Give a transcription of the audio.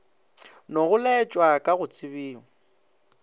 nogo laetwa ka go tsebio